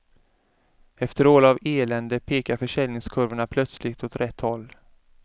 Efter år av elände pekar försäljningskurvorna plötsligt åt rätt håll.